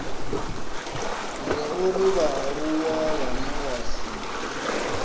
zwauri vhaaluwa vhane vha si